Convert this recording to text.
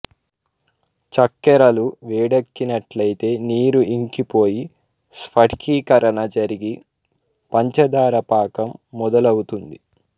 చక్కెరలు వేడెక్కినట్లయితే నీరు ఇంకిపోయి స్ఫటికీకరణ జరిగి పంచదార పాకం మొదలవుతుంది